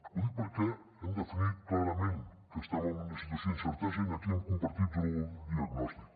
ho dic perquè hem definit clarament que estem en una situació d’incertesa i aquí hem compartit el diagnòstic